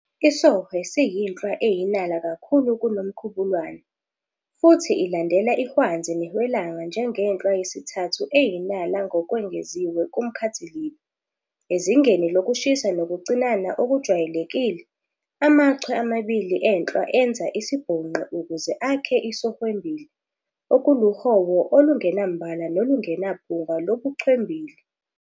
IsOhwe siyinhlwa eyinala kakhulu kuNomkhubulwane, futhi ilandela ihwanzi nehwelanga njengenhlwa yesithathu eyinala ngokwengeziwe kumkhathilibe. Ezingeni lokushisa nokucinana okujwayelekile, amachwe amabili enhlwa enza isibhonqi ukuze akhe isOhwembili, okuluhowo olungenambala nolungenaphunga lobuchwembili.